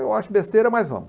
Eu acho besteira, mas vamo.